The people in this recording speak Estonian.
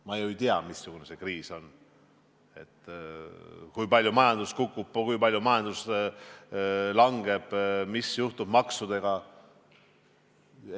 Ma ju ei tea, missugune see kriis on, kui palju majandus kukub, kui palju majandus langeb, mis juhtub maksudega.